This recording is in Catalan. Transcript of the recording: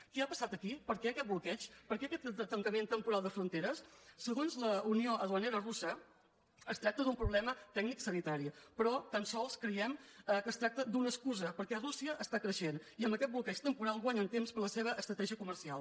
què ha passat aquí per què aquest bloqueig per què aquest tancament temporal de fronteres segons la unió duanera russa es tracta d’un problema tecnico·sanitari però tan sols creiem que es tracta d’una excu·sa perquè rússia està creixent i amb aquest bloqueig temporal guanyen temps per a la seva estratègia co·mercial